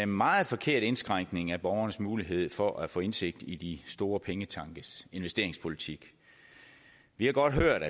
meget forkert indskrænkning af borgernes mulighed for at få indsigt i de store pengetankes investeringspolitik vi har godt hørt